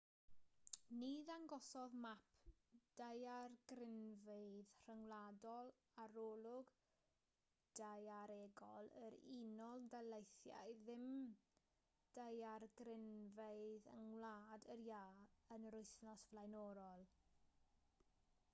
ni ddangosodd map daeargrynfeydd rhyngwladol arolwg daearegol yr unol daleithiau ddim daeargrynfeydd yng ngwlad yr iâ yn yr wythnos flaenorol